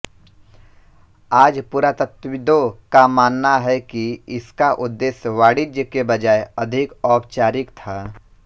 आज पुरातत्वविदों का मानना है कि इसका उद्देश्य वाणिज्य के बजाय अधिक औपचारिक था